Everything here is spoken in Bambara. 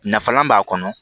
Nafalan b'a kɔnɔ